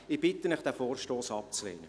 Ich bitte Sie, diesen Vorstoss abzulehnen.